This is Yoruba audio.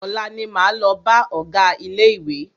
Ọ̀la ní máa lọ bá ọgá ilé ìwé.